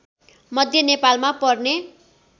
मध्य नेपालमा पर्ने